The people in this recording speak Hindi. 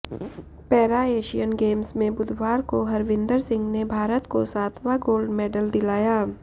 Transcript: पैरा एशियन गेम्स में बुधवार को हरविंदर सिंह ने भारत को सातवां गोल्ड मेडल दिलाया